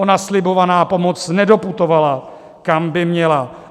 Ona slibovaná pomoc nedoputovala, kam by měla.